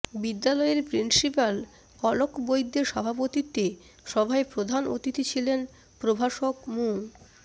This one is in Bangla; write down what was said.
বিদ্যালয়ের প্রিন্সিপাল অলক বৈদ্যের সভাপতিত্বে সভায় প্রধান অতিথি ছিলেন প্রভাষক মু